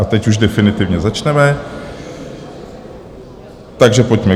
A teď už definitivně začneme, takže pojďme.